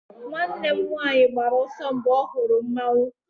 nwanne m nwanyi gbara ọsọ, mgbe ọ hụrụ mmanwu